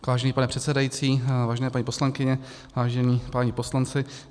Vážený pane předsedající, vážené paní poslankyně, vážení páni poslanci.